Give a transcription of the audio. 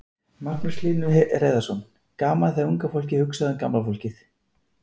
Magnús Hlynur Hreiðarsson: Gaman þegar unga fólkið hugsar um gamla fólkið?